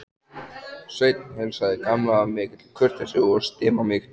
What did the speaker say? Sveinn heilsaði Gamla af mikilli kurteisi og stimamýkt.